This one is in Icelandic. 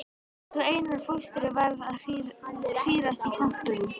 Svo Einar fóstri varð að hírast í kompum.